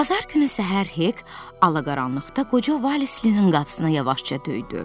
Bazar günü səhər Hek alaqaranlıqda qoca Valislinin qapısına yavaşca döydü.